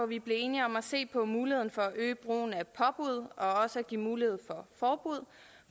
vi blev enige om at se på muligheden for at øge brugen af påbud og også at give mulighed for forbud